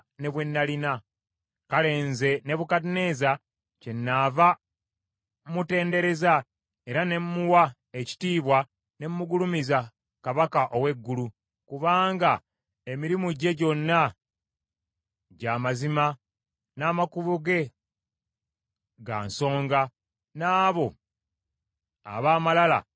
Kale nze Nebukadduneeza kyennaava mmutendereza era ne mmuwa ekitiibwa ne mmugulumiza Kabaka ow’eggulu, kubanga emirimu gye gyonna gya mazima n’amakubo ge ga nsonga, n’abo ab’amalala abakkakkanya.